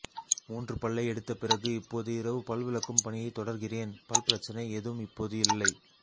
மூன்று பல்லை எடுத்த பிறகு இப்போது இரவு பல் விளக்கும் பணியைத் தொடர்கிறேன் பல் பிரச்சனை ஏதும் இப்போது இல்லை